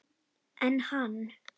En hann?